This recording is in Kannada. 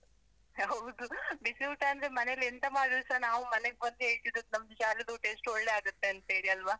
ಹೌದು , ಬಿಸಿ ಊಟ ಅಂದ್ರೆ ಮನೆಯಲ್ಲಿ ಎಂತ ಮಾಡಿದ್ರೂಸ ನಾವು ಮನೆಗ್ ಬಂದು ಹೇಳ್ತಿದ್ದಿದು ನಮ್ದು ಶಾಲೆದು ಊಟ ಎಷ್ಟು ಒಳ್ಳೇ ಆಗುತ್ತೆ ಅಂತೇಳಿ ಅಲ್ವಾ?